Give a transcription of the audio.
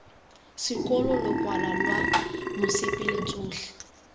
sekolo lokwalo lwa mosepele tsotlhe